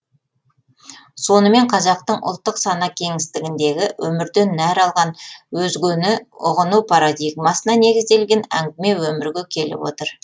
сонымен қазақтың ұлттық сана кеңістігіндегі өмірден нәр алған өзгені ұғыну парадигмасына негізделген әңгіме өмірге келіп отыр